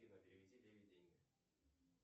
афина переведи лене деньги